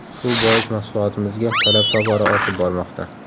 Shu bois mahsulotimizga talab tobora ortib bormoqda.